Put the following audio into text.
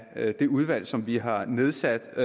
af det udvalg som vi har nedsat